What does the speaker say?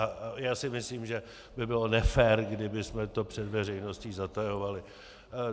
A já si myslím, že by bylo nefér, kdybychom to před veřejností zatajovali.